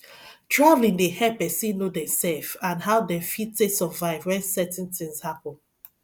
travelling dey help person know themself and how dem fit take survive when certain tins happen